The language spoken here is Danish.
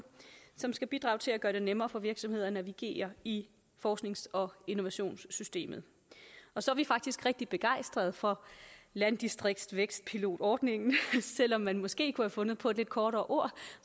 som skal bidrage til at gøre det nemmere for virksomheder at navigere i forsknings og innovationssystemet og så er vi faktisk rigtig begejstrede for landdistriktsvækstpilotordningen selv om man måske kunne have fundet på et lidt kortere ord